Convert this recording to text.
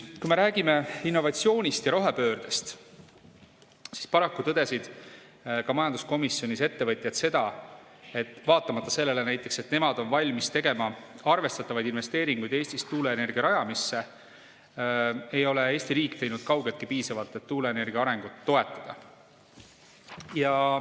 Kui me räägime innovatsioonist ja rohepöördest, siis paraku tõdesid ka ettevõtjad majanduskomisjonis, et vaatamata sellele, et nemad on valmis tegema arvestatavaid investeeringuid Eestis tuuleenergia rajamisse, ei ole Eesti riik teinud kaugeltki piisavalt, et tuuleenergia arengut toetada.